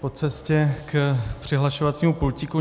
po cestě k přihlašovacímu pultíku.